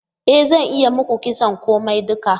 E zan iya yi muku kitson komai duka.